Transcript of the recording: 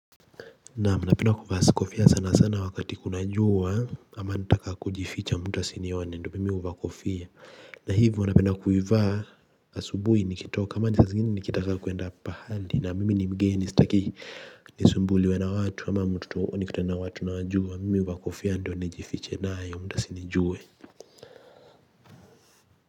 Na napenda kuvaa sikofia sana sana wakati kuna jua ama nataka kujificha mtu asinione ndio mimi huvaa kofia. Na hivyo napenda kuivaa asubui nikitoka ama saa zingine nikitaka kuenda pahali na mimi ni mgeni staki. Nisumbuliwe na watu ama mtu tu huwa nikikutana watu nawajua mimi huvaa kofia ndio nijifiche nayo mtu asinijue.